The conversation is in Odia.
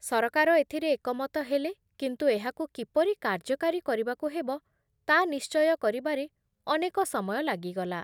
ସରକାର ଏଥିରେ ଏକମତ ହେଲେ କିନ୍ତୁ ଏହାକୁ କିପରି କାର୍ଯ୍ୟକାରୀ କରିବାକୁ ହେବ ତା ନିଶ୍ଚୟ କରିବାରେ ଅନେକ ସମୟ ଲାଗିଗଲା ।